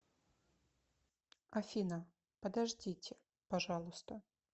афина подождите пожалуйста